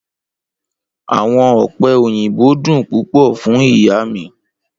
Awọn ope oyinbo dun pupọ fun iya mi